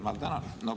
Ma tänan!